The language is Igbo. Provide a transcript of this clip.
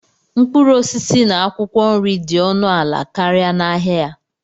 mkpụrụ osisi na akwụkwọ nri dị ọnụ ala karịa n'ahịa ya.